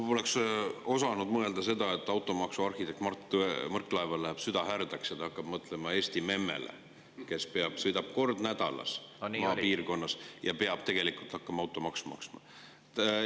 Ma poleks osanud mõelda seda, et automaksu arhitektil Mart Võrklaeval läheb süda härdaks ja ta hakkab mõtlema Eesti memmele, kes sõidab kord nädalas maapiirkonnas ja peab hakkama automaksu maksma.